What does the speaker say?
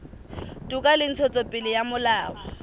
toka le ntshetsopele ya molao